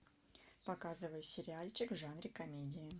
показывай сериальчик в жанре комедии